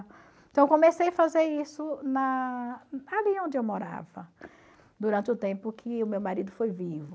Então eu comecei a fazer isso na ali onde eu morava, durante o tempo que o meu marido foi vivo.